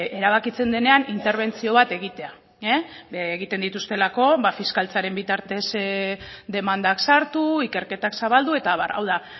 erabakitzen denean interbentzio bat egitea egiten dituztelako fiskaltzaren bitartez demandak sartu ikerketak zabaldu eta abar hau da